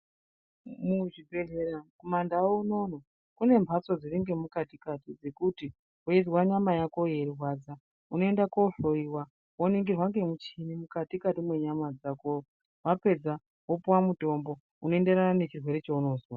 Muzvibhedhleya, kumaNdau unouno kune mhatso dziri ngemukati kati dzekuti weizwa nyama yako yeirwadza, unoenda kohloyiwa, woningirwa ngemucheni mukati kati mwenyama dzako. Wapedza, wopuwa mutombo unoenderana nechirwere chaunozwa.